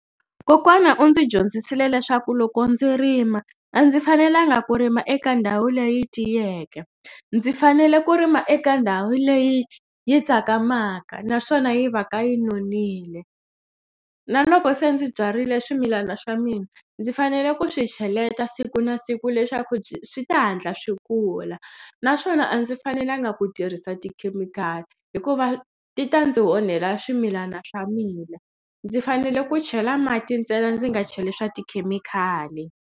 Kokwana u ndzi dyondzisile leswaku loko ndzi rima a ndzi fanelanga ku rima eka ndhawu leyi tiyeke ndzi fanele ku rima eka ndhawu leyi yi tsakamaka naswona yi va ka yi nonile na loko se ndzi byarile swimilana swa mina ndzi fanele ku swi cheleta siku na siku leswaku swi ta hatla swi kula naswona a ndzi fanelanga ku tirhisa tikhemikhali hikuva ti ta ndzi onhela swimilana swa mina ndzi fanele ku chela mati ntsena ndzi nga cheli swa tikhemikhali.